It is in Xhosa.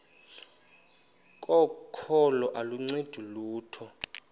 kokholo aluncedi lutho